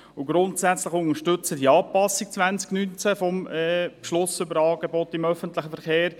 Grundsätzlich unterstützen wir auch die Anpassung 2019 des Angebotsbeschlusses über den öffentlichen Verkehr.